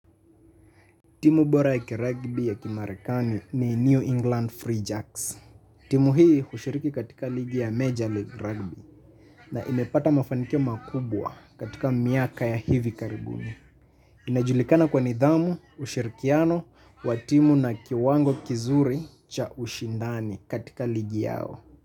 Timu bora ya kiragbi ya kimarekani ni New England Free Jacks. Timu hii hushiriki katika ligi ya Major League Rugby na imepata mafanikio makubwa katika miaka ya hivi karibuni. Inajulikana kwa nidhamu ushirikiano wa timu na kiwango kizuri cha ushindani katika ligi yao.